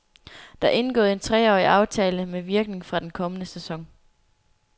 Der er indgået en treårig aftale med virkning fra den kommende sæson.